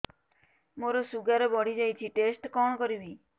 ମୋର ଶୁଗାର ବଢିଯାଇଛି ଟେଷ୍ଟ କଣ କରିବି